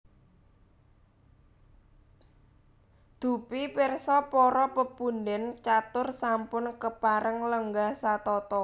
Dupi pirsa para pepundhen catur sampun kepareng lenggah satata